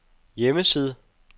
hjemmeside